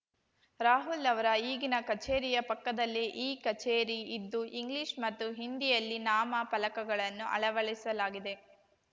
ರಾಹುಲ್‌ ಅವರ ಈಗಿನ ಕಚೇರಿಯ ಪಕ್ಕದಲ್ಲೇ ಈ ಕಚೇರಿ ಇದ್ದು ಇಂಗ್ಲಿಷ್‌ ಮತ್ತು ಹಿಂದಿಯಲ್ಲಿ ನಾಮ ಫಲಕಗಳನ್ನು ಅಳವಡಿಸಲಾಗಿದೆ